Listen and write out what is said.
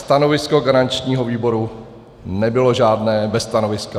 Stanovisko garančního výboru nebylo žádné, bez stanoviska.